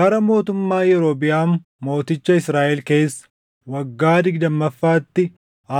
Bara mootummaa Yerobiʼaam mooticha Israaʼel keessa waggaa digdammaffaatti